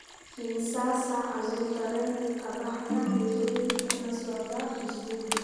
Imisa saac ayuu tareenku ka baxaa Nairobi kuna socda Kisumu?